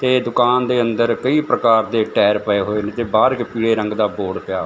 ਤੇ ਦੁਕਾਨ ਦੇ ਅੰਦਰ ਕਈ ਪ੍ਰਕਾਰ ਦੇ ਟਾਇਰ ਪਏ ਹੋਏ ਨੇ ਤੇ ਬਾਹਰ ਇੱਕ ਪੀਲੇ ਰੰਗ ਦਾ ਬੋਰਡ ਪਿਆ --